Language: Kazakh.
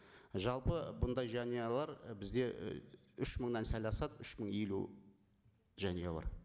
жалпы бұндай жанұялар і бізде үш мыңнан сәл асады үш мың елу жанұя бар